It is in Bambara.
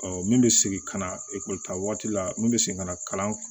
min bɛ segin ka na ekɔli ta waati la n bɛ segin ka na kalan